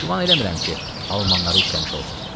Güman eləmirəm ki, almanları işləmiş olsun.